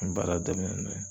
N baara daminɛ n'o ye